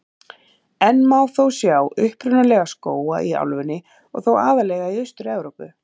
Enn má þó sjá upprunalega skóga í álfunni og þá aðallega í Austur-Evrópu.